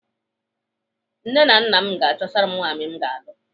Nne nna m ga-achọtara m nwaanyị m ga-alụ.